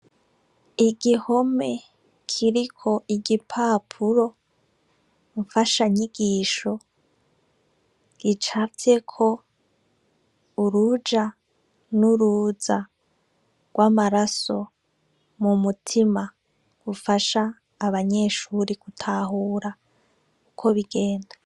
Igihome kiriko igipapuro mfashanyigisho gicafyeko urujanuruza rw'amaraso mu mutima rufasha abanyeshuri gutahura uko bigenda.